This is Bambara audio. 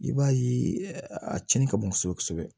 I b'a ye a tiɲɛni ka bon kosɛbɛ kosɛbɛ